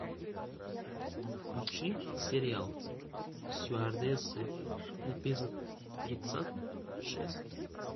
включи сериал стюардессы эпизод тридцать шесть